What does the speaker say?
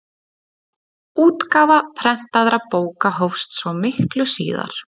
útgáfa prentaðra bóka hófst svo miklu síðar